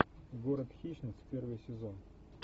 город хищниц первый сезон